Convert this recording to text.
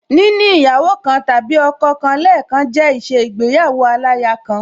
Níní ìyàwó kan tàbí ọkọ kan lẹẹkan jẹ́ ìṣe igbéyàwó aláya kan